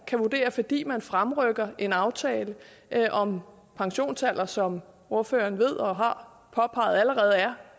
kan vurdere at fordi man fremrykker en aftale om pensionsalder som ordføreren ved og har påpeget allerede er